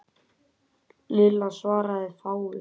Lilla svaraði fáu.